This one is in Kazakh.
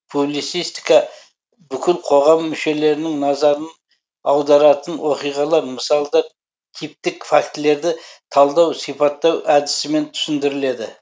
публицистика бүкіл қоғам мүшелерінің назарын аударатын оқиғалар мысалдар типтік фактілерді талдау сипаттау әдісімен түсіндіріледі